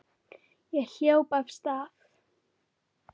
Ég hljóp af stað.